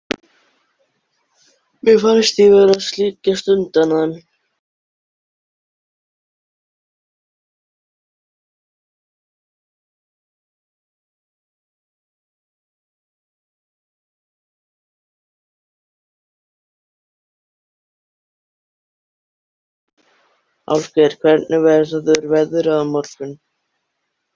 Álfgeir, hvernig verður veðrið á morgun?